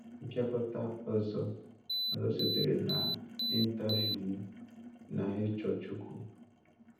Mpị̀akọ́tà ọzọ ọzọ sitere n’interviú m na Ị́chọ́ Chíukwu.